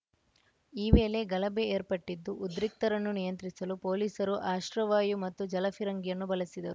ಈ ವೇಳೆ ಗಲಭೆ ಏರ್ಪಟ್ಟಿದ್ದು ಉದ್ರಿಕ್ತರನ್ನು ನಿಯಂತ್ರಿಸಲು ಪೊಲೀಸರು ಅಶ್ರವಾಯು ಮತ್ತು ಜಲಫಿರಂಗಿಯನ್ನು ಬಳಸಿದರು